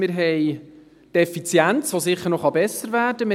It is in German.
Wir haben die Effizienz, die sicher noch besser werden kann;